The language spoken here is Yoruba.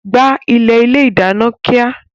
Gbá ilẹ̀ ilé ìdáná kíá!